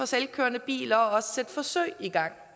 selvkørende biler og også sætte forsøg i gang